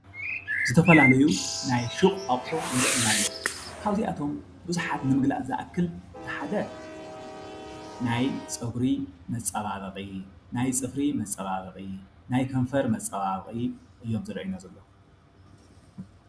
ዝተፈላለዩ ናይ ሹቅ ኣቁሑት ይረአየና ኣለው። ካብዝኣቶም ብዙሓት ነገር ዝኣክል እቱይ ሓደ ናይ ፀጉሪ መፃባበቒ ፣ናይ ፅፊሪ መፃባበቒ፣ ናይ ከንፈር መፃባበቒ እዮም ዝርኣዩና ዘለው።